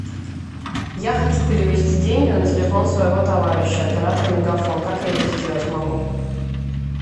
я хочу перевести деньги на телефон своего товарища оператор мегафон как я это сделать могу